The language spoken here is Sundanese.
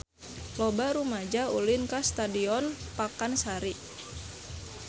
Loba rumaja ulin ka Stadion Pakansari